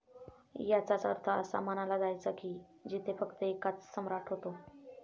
याचाच अर्थ असा मनाला जायचा कि जिथे फक्त एकच सम्राट होते.